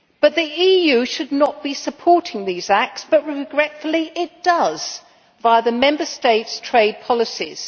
The EU should not be supporting these acts but, regretfully, it does, via the Member States' trade policies.